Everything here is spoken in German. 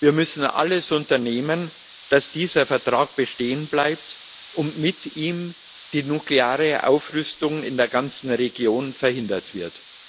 Wir müssen alles dafür unternehmen, dass dieser Vertrag bestehen bleibt, damit mit ihm die nukleare Aufrüstung in der ganzen Region verhindert wird.